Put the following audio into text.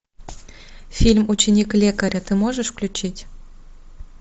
фильм ученик лекаря ты можешь включить